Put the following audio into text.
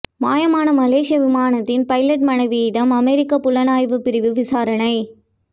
மாயமான மலேசிய விமானத்தின் பைலெட் மனைவியிடம் அமெரிக்க புலனாய்வு பிரிவு விசாரணை